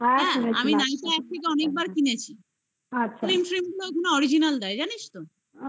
আমি nykaa app থেকে অনেকবার কিনেছি। আচ্ছা, কোন original দেয় জানিস তো?